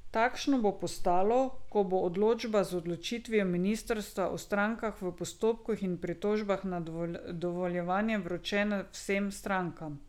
Takšno bo postalo, ko bo odločba z odločitvijo ministrstva o strankah v postopku in pritožbah na dovoljenje vročena vsem strankam.